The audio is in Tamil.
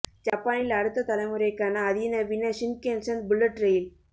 ஜப்பானில் அடுத்த தலைமுறைக்கான அதிநவீன ஷின்கென்சன் புல்லட் ரெயில்